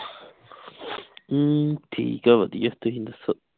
ਅਮ ਠੀਕ ਆ ਵਧੀਆ ਤੁਸੀਂ ਦੱਸੋ